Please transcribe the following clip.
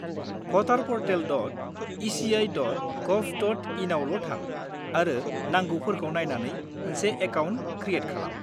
voterportal.eci.gov.in आवल' थां आरो नांगौफोरखौ नायनानै मोनसे एकाउन्ट क्रियेट खालाम।